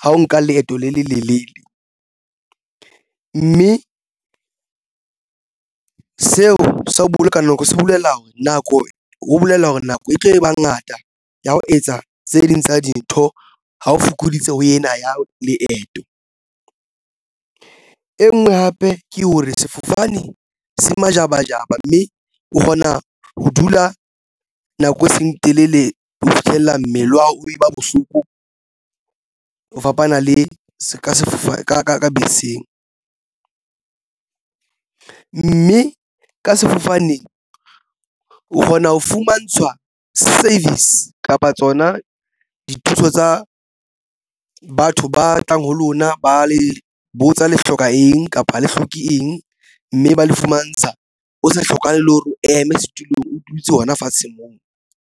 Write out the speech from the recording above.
ha o nka leeto le lelelele, mme ke seo sa ho boloka nako se bolela hore nako ho bolela hore nako e tlo ba ngata ya ho etsa tse ding tsa dintho. Ha o fokoditse ho yena ya leeto e nngwe hape ke hore sefofane se majabajaba mme o kgona ho dula nako e seng telele ho fihlella mmele wa hao o e ba bohloko ho fapana le seka sefe ka beseng, mme ka sefofane o kgona ho fumantshwa service kapa tsona dithuso tsa batho ba tlang ho lona ba le botsa le hloka eng kapa le hloke eng mme ba le fumantsha o sa hlokahale le hore o eme setulong o toetse hona fatsheng moo.